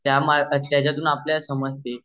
त्याच्यातून आपल्याला समजते